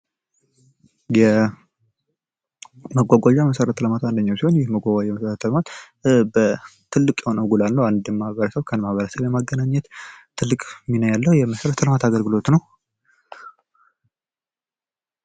የመጓጓዣ መሠረተ ልማት አንደኛው ሲሆን ይህ የመጓጓዣ መሠረተ ልማት ተልቅ የሆነ ጎል አለው አንድን ማህበረሰብ ከማህበረሰብ ለማገናኘት ትልቅ ሚና ያለው የመሠረተ ልማት አገልግሎት ነው።